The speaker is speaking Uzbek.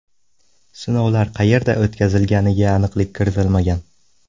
Sinovlar qayerda o‘tkazilganiga aniqlik kiritilmagan.